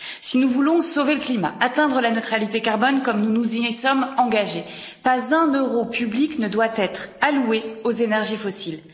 Si nous voulons sauver le climat et atteindre la neutralité carbone, comme nous nous y sommes engagés, pas un euro public ne doit être alloué aux énergies fossiles.